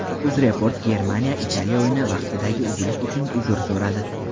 UzReport Germaniya Italiya o‘yini vaqtidagi uzilish uchun uzr so‘radi.